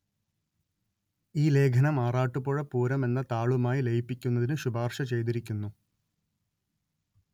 ഈ ലേഖനം ആറാട്ടുപുഴ പൂരം എന്ന താളുമായി ലയിപ്പിക്കുന്നതിന്‌ ശുപാര്‍ശ ചെയ്തിരിക്കുന്നു